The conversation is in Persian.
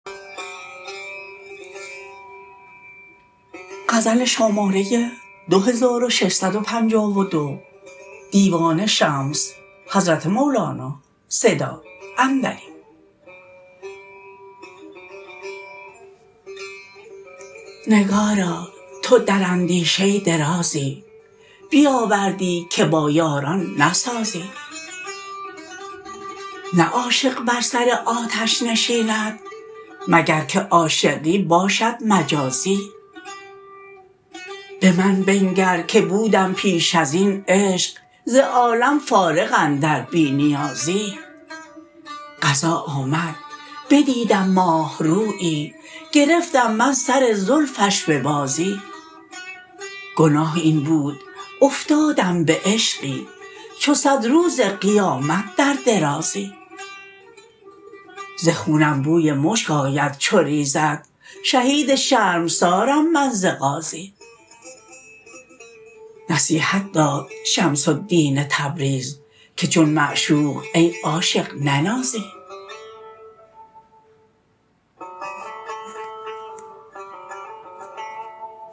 نگارا تو در اندیشه درازی بیاوردی که با یاران نسازی نه عاشق بر سر آتش نشیند مگر که عاشقی باشد مجازی به من بنگر که بودم پیش از این عشق ز عالم فارغ اندر بی نیازی قضا آمد بدیدم ماه رویی گرفتم من سر زلفش به بازی گناه این بود افتادم به عشقی چو صد روز قیامت در درازی ز خونم بوی مشک آید چو ریزد شهید شرمسارم من ز غازی نصیحت داد شمس الدین تبریز که چون معشوق ای عاشق ننازی